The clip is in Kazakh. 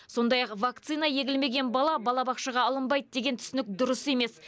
сондай ақ вакцина егілмеген бала балабақшаға алынбайды деген түсінік дұрыс емес